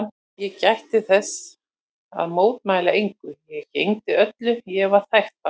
Ég gætti þess að mótmæla engu, ég gegndi öllu, ég var þægt barn.